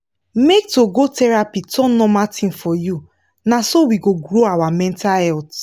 make to go for therapy turn normal thing for you na so we go grow our mental health